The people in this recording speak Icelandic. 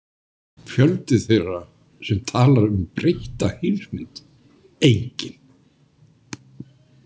Fjöldi þeirra sem talar um „breytta heimsmynd“: enginn.